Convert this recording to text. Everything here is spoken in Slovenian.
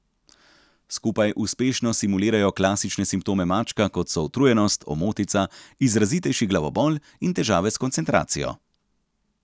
Skupaj uspešno simulirajo klasične simptome mačka, kot so utrujenost, omotica, izrazitejši glavobol in težave s koncentracijo.